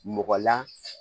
Mɔgɔlan